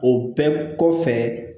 O bɛɛ kɔfɛ